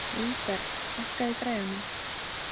Vígberg, hækkaðu í græjunum.